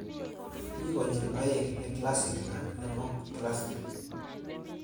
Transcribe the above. Mi konyil oeng' : ne classic ak nemo classic.